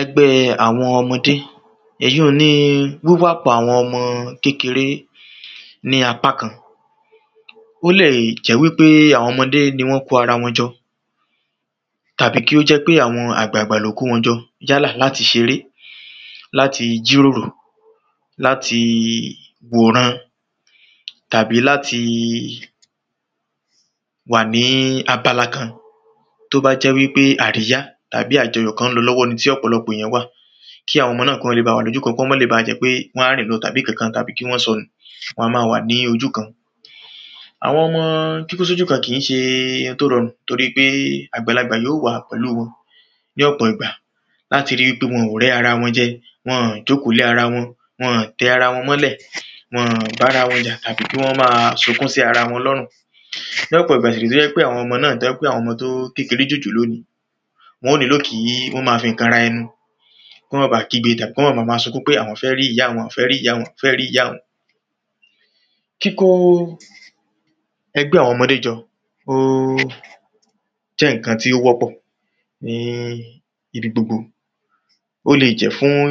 Ẹgbẹ́ àwọn ọmọdé. Èyun ni wíwàpọ̀ àwọn ọmọ kékeré ní apá kan. Ó lè jẹ́ wípé àwọn ọmọdé ni wọ́n kó ara wọn jọ. Tàbí kí ó jẹ́ pé àwọn àgbàgbà ló kó wọn jọ. Yálà láti ṣeré, láti jíròrò, láti wòran. Tàbí láti wà ní abala kan. Tó bá jẹ́ pé àríyá tàbí ajọyọ̀ kan ń lọ lọwọ́ ni tí ọ̀pọ̀lọpọ̀ ènìyàn wà. Kí àwọn ọmọ náà kí wọ́n le ba wà lójú kan kó má le baà jẹ́ pé wọ́n á rìn lọ tàbí kankan tàbí kí wọ́n sọnù, wọn a má a wà ní ojú kan. Àwọn ọmọ kíkó sójú kan kìí ṣe ohun tó rọrùn torípé àgbàlagbà yóò wà pẹ̀lú wọn. Ní ọ̀pọ̀ ìgbà láti ri wípé wọn ò rẹ́ ara wọn jẹ. Wọn-ọ̀n jókòó lé ara wọn, wọn ò tẹ ara wọn mọ́lẹ̀. Wọn ò bá ara wọn jà tàbí kí wọ́n má a sunkún sí ara wọn lọ́rùn. Ní ọ̀pọ̀ ìgbà sì ré tó jẹ́ pé àwọn ọmọ náà tó jẹ́ pé àwọn ọmọ tó kékeré jòjòló ni. Wọn ó níló kí wọ́n má a fi nǹkan ra ẹnu. Kí wọ́n má baà kígbe ìjà, kọ́n ma ma sunkún pé àwọ́n fẹ́ ríyá àwọn fẹ́ ríyá àwọn fẹ́ ríyá àwọn. Kíkó ẹgbẹ́ àwọn ọmọdé jọ óó jẹ́ ǹkan tí ó wọ́pọ̀ ní ibi gbogbo. Ó leè jẹ́ fún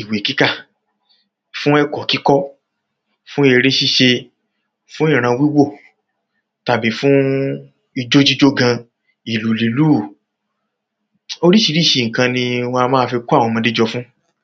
ìwé kíkà, fún ẹ̀kọ́ kíkọ́, fún eré síse. Fún ìran wíwò tàbí fún ijó jíjó gan, ìlù lílù. Oríṣiríṣi nǹkan ni wọn a má a kó àwọn ọmọdé jọ fún.